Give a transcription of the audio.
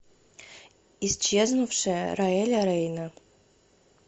исчезнувшая роэля рейна